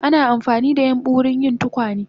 Ana amfanida yambu wurin yin tukwane